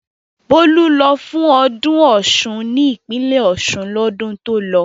Bólú lọ fún ọdún Ọ̀ṣun ní ìpínlẹ̀ Ọ̀ṣun lọ́dún tó lọ.